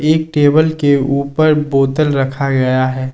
एक टेबल के ऊपर बोतल रखा गया है।